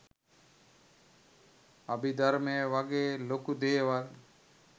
අභිධර්මය වගේ ලොකු දේවල්